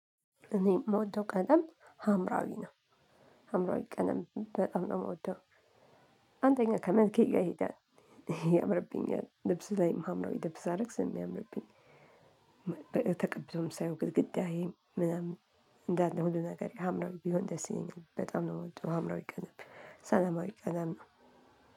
እኔ የምወደው ቀለም ሀምራዊ ነው ሀምራዊ ቀለም በጣም ነው ምወደው አንደኛ ከመልኬ ጋር ይሄዳል ያምርብኛል ልብስ ላይ ሀምራዊ ልብስ ሳደርግ ስለሚያምርብኝ ሳይሆን ግድግዳዬ ምናምን እንዳለ ሁሉ ነገር ሀምራዊ ቢሆን ደስ ይለኛል በጣም ነው ምወደው ሀምራዊ ቀለም ሰላማዊ ቀለም ነው።